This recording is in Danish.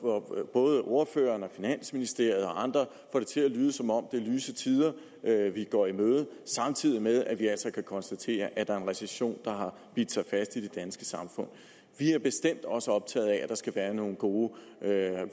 både ordføreren og finansministeriet og andre får det til at lyde som om det er lyse tider vi går i møde samtidig med at vi altså kan konstatere at der er en recession der har bidt sig fast i det danske samfund vi er bestemt også optaget af at der skal være nogle gode